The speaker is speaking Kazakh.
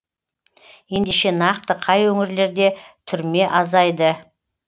ендеше нақты қай өңірлерде түрме азайды